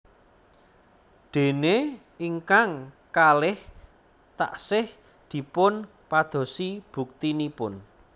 Dene ingkang kalih taksih dipun padosi buktinipun